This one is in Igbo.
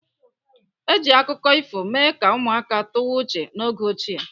Eji akụkọ ifo mee ka ụmụaka tụwa uche n'oge ochie.